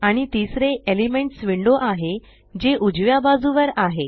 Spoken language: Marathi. आणि तिसरे एलिमेंट्स विंडो आहे जे उजव्या बाजुवर आहे